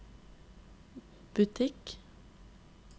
butikk